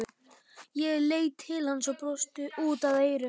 Ég leit til hans og brosti út að eyrum.